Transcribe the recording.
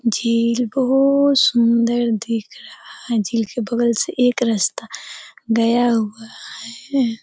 झील बहोत सुन्दर दिख रहा है। झील के बगल से एक रास्ता गया हुआ है।